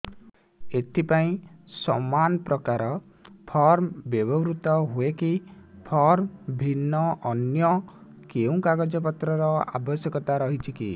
ଏଥିପାଇଁ ସମାନପ୍ରକାର ଫର୍ମ ବ୍ୟବହୃତ ହୂଏକି ଫର୍ମ ଭିନ୍ନ ଅନ୍ୟ କେଉଁ କାଗଜପତ୍ରର ଆବଶ୍ୟକତା ରହିଛିକି